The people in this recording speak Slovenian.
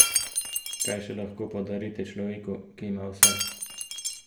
Kaj še lahko podarite človeku, ki ima vse?